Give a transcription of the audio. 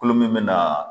Kolo min bɛ na